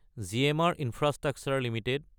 GMR infrastructure Ltd